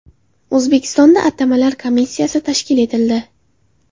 O‘zbekistonda atamalar komissiyasi tashkil etildi.